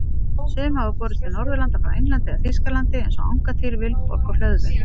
Sum hafa borist til Norðurlanda frá Englandi eða Þýskalandi eins og Angantýr, Vilborg og Hlöðver.